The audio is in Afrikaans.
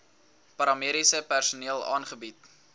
paramediese personeel aangebied